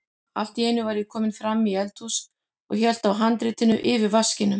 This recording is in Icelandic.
Allt í einu var ég kominn fram í eldhús og hélt á handritinu yfir vaskinum.